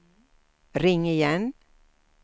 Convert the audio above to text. ring igen